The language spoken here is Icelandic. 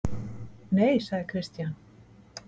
Nei, sagði Christian.